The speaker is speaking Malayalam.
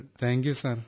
thank you sir